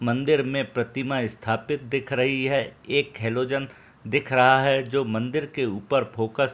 मंदिर में प्रतिमा स्‍थापित दिख रही है एक हेलोजन दिख रहा है जो मंदिर के ऊपर फोकस --